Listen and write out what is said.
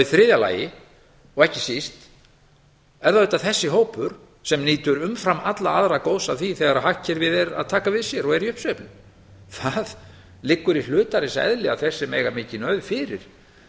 í þriðja lagi og ekki síst er það auðvitað þessi hópur sem nýtur umfram alla aðra góðs af því þegar hagkerfið er að taka við sér og er í uppsveiflu það liggur í hlutarins eðli að þeir sem eiga mikinn auð fyrir